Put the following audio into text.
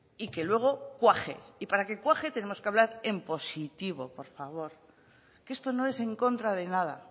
y que luego cuaje y para que cuaje tenemos que hablar en positivo por favor que esto no es en contra de nada